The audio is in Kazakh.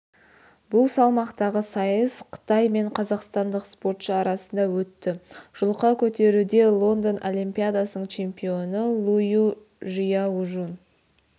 бұл салмақтағы сайыс қытай мен қазақстандық спортшы арасында өтті жұлқа көтеруде лондон олимпиадасының чемпионы лую жияужун